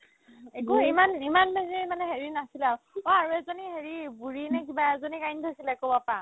একো ইমান ইমান বেছি মানে হেৰি নাছিলে আৰু অ এজনী হেৰি বুঢ়ি নে কিবা এজনীক আনি থৈছিলে ক'ৰবাৰ পা